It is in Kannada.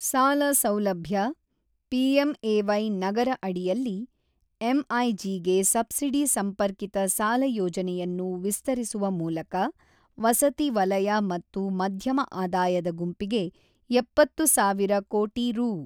ಸಾಲ ಸೌಲಭ್ಯ, ಪಿಎಂಎವೈ ನಗರ ಅಡಿಯಲ್ಲಿ ಎಂಐಜಿಗೆ ಸಬ್ಸಿಡಿ ಸಂಪರ್ಕಿತ ಸಾಲ ಯೋಜನೆಯನ್ನು ವಿಸ್ತರಿಸುವ ಮೂಲಕ ವಸತಿ ವಲಯ ಮತ್ತು ಮಧ್ಯಮ ಆದಾಯದ ಗುಂಪಿಗೆ ಎಪ್ಪತ್ತು ಸಾವಿರ ಕೋಟಿ ರೂ.